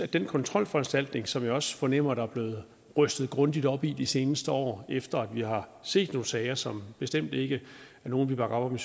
den kontrolforanstaltning som jeg også fornemmer der er blevet rystet grundigt op i de seneste år efter at vi har set nogle sager som bestemt ikke er nogle vi bakker op om